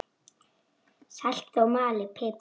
Saltið og malið pipar yfir.